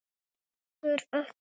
Ég kann heldur ekki neitt.